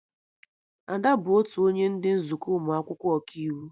Ada bụ otu onye ndị nzukọ ụmụ akwụkwọ Ọkaiwu